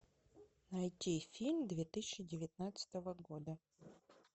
найти фильм две тысячи девятнадцатого года